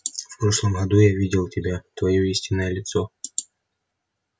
в прошлом году я видел тебя твоё истинное лицо